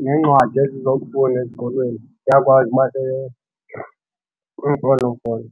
neencwadi ezizokufunda ezikolweni ziyakwazi uba kwiimfonomfono.